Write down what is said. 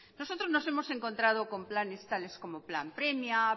nosotros nos hemos encontrado con planes tales como plan premia